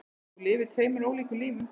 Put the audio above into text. Þú lifðir tveimur ólíkum lífum.